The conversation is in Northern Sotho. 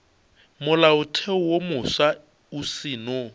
molaotheo wo mofsa o seno